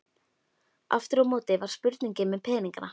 Aftur á móti var spurning með peningana.